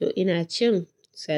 To ina cin salad.